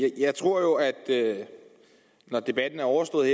jeg tror at når debatten er overstået